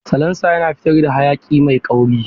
Salansa yana fitar da hayaki mai kauri.